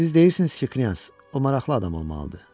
Siz deyirsiniz ki, Knyaz, o maraqlı adam olmalıdır.